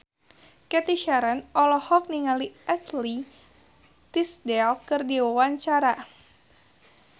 Cathy Sharon olohok ningali Ashley Tisdale keur diwawancara